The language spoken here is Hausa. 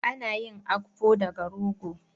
Ana yin Akpu daga rogo.